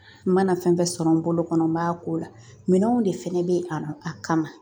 N mana fɛn fɛn sɔrɔ n bolo kɔnɔ n b'a k'o la minɛnw de fɛnɛ be yen a ma a kama